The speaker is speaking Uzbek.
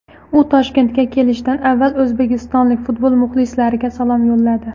U Toshkentga kelishdan avval o‘zbekistonlik futbol muxlislariga salom yo‘lladi !